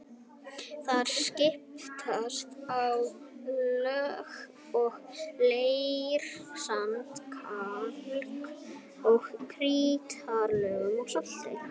Þar skiptast á lög af leir-, sand-, kalk- og krítarlögum og salti.